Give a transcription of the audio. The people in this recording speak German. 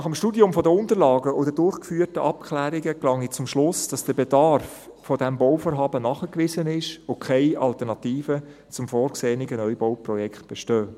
Nach dem Studium der Unterlagen und den durchgeführten Abklärungen gelange ich zum Schluss, dass der Bedarf dieses Bauvorhabens nachgewiesen ist und keine Alternativen zum vorgesehenen Neubauprojekt bestehen.